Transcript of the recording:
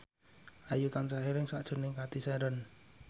Ayu tansah eling sakjroning Cathy Sharon